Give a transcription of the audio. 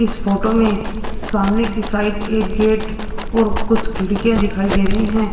इस फोटो में सामने की साइड एक गेट और कुछ खिड़कियां दिखाई दे रही हैं।